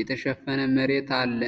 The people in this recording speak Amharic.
የተሸፈነ መሬት አለ።